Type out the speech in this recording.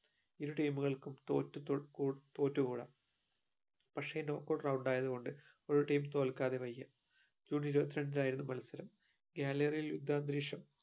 ഇരു team കൾക്കും തോറ്റു തു കു തോറ്റു കൂടാ പക്ഷേ knock out round ആയതു കൊണ്ട് ഒരു team തോൽക്കാതെ വയ്യ June ഇരുവത്രണ്ടിനായിരുന്ന മത്സരം gallery ലെ അന്തരീക്ഷം